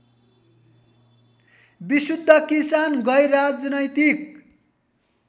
विशुद्ध किसान गैरराजनैतिक